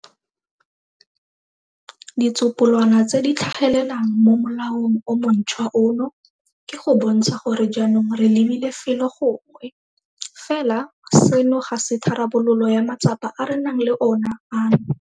Ditsopolwana tse di tlhagelelang mo molaong o montšhwa ono ke go bontsha gore jaanong re lebile felo gongwe. Fela seno ga se tharabololo ya matsapa a re nang le ona ano.